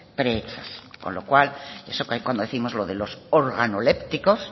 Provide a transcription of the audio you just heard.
pre con lo cual eso que décimos los